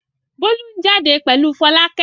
Bólú ń jáde pẹ̀lú Fọlákẹ́.